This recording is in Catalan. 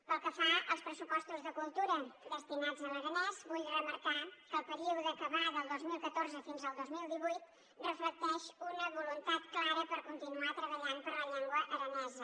pel que fa als pressupostos de cultura destinats a l’aranès vull remarcar que el període que va del dos mil catorze fins al dos mil divuit reflecteix una voluntat clara per continuar treballant per la llengua aranesa